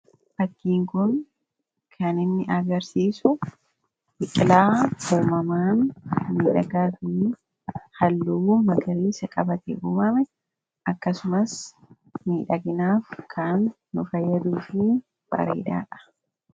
Fakkiin kun kan inni agarsiisu biqilaa uumamaan miidhagaa fi halluu magariisa qabate uumame akkasumas miidhaginaaf kaan nu fayyaduu fi bareedaadha.